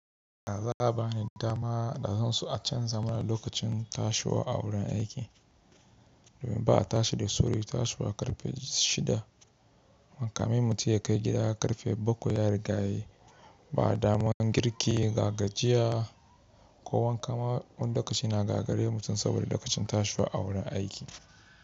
Za' ba ni dama, da zan so a canza mana lokacin tashiwa a wurin aiki domin ba'a tashi da sauri tashiwa karfe shida. Kamin mutum ya kai gida karfe bakwai ya riga yayi. Ba daman girki, gagajiya ko wanka ma, wani lokaci na gagare mutum, saboda lokacin tashiwa a wurin aiki.